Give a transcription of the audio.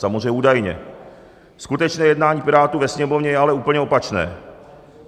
Samozřejmě údajně, skutečné jednání Pirátů ve Sněmovně je ale úplně opačné.